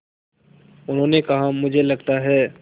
उन्होंने कहा मुझे लगता है